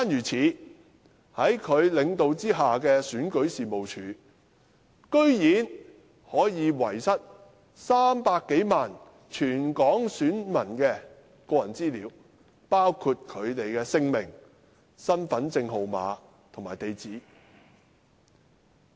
此外，在他領導下的選舉事務處居然可以遺失全港300多萬名選民的個人資料，包括姓名、身份證號碼和地址。